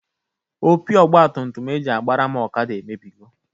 Opi ọgbatumtum e ji agbara m ọkada emebigo.